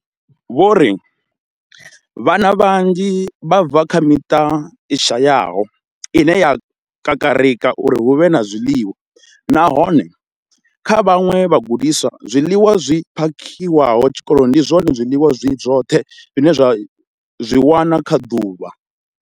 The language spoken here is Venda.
Vho ri vhana vhanzhi vha bva kha miṱa i shayaho ine ya kakarika uri hu vhe na zwiḽiwa, nahone kha vhaṅwe vhagudiswa, zwiḽiwa zwi phakhiwaho tshikoloni ndi zwone zwiḽiwa zwi zwoṱhe zwine vha zwi wana kha ḓuvha.